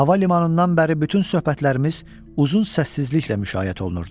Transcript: Hava limanından bəri bütün söhbətlərimiz uzun səssizliklə müşayiət olunurdu.